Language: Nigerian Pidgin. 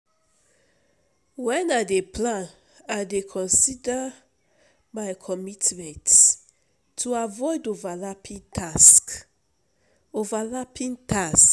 Wen I dey plan, I go consider my commitments to avoid overlapping tasks. overlapping tasks.